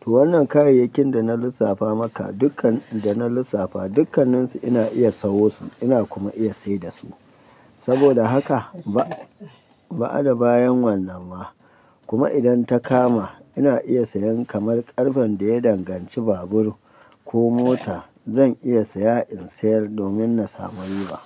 To wannan kayayyakin da na lissafa maka dukkan da na lissafa dukkanninsu ina iya sawo su ina kuma iya sai da su. Saboda haka ba, ba'ada bayan wannan ma kuma idan ta kama ina iya sayan kamar ƙarfen da ya danganci babur ko mota zan iya saya in sayar domin na samu riba.